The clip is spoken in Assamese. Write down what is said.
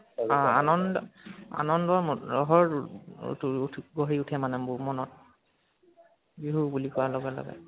আ আনন্দ, আনন্দৰ লহৰ তু উঠি ও গৰ্হি উঠে মানে মনত , বিহু বুলি কোৱা লগে লগে